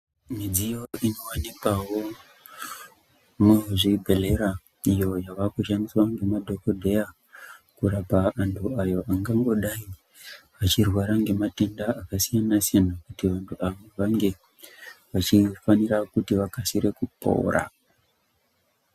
Midziyo inowanikwao muzvibhedhlera iyo yavakushandiswa ngemadhokodhera kurapa anthu ayo angangodai achirwara ngematenda akasiyana siyana kuti vange vachifanaira kuti vakasire kupora.